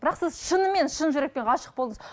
бірақ сіз шынымен шын жүректен ғашық болдыңыз